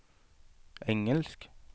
engelsk